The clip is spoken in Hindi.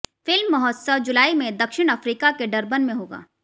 फिल्म महोत्सव जुलाई में दक्षिण अफ्रीका के डरबन में होगा